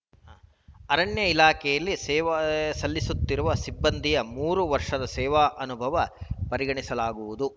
ಅರಣ್ಯ ಇಲಾಖೆಯಲ್ಲಿ ಸೇವೆ ಸಲ್ಲಿಸುತ್ತಿರುವ ಸಿಬ್ಬಂದಿಯ ಮೂರು ವರ್ಷಗಳ ಸೇವಾ ಅನುಭವ ಪರಿಗಣಿಸಲಾಗುವುದು